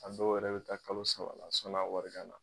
A dɔw yɛrɛ bɛ taa kalo saba la sɔn'a wari ka na.